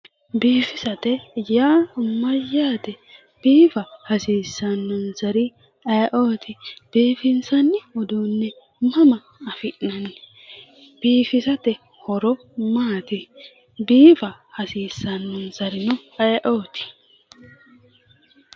Biifisate yaa Mayyaate ?biifa hasiisanonisari ayeooti? biifinisanni uduunni mama afi'nanni? biifisate horo maati? biifa hasiisannonisarino ayeooti?